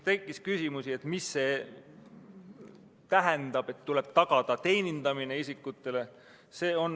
Tekkis küsimusi, mida see tähendab, et isikutele tuleb tagada teenindamine.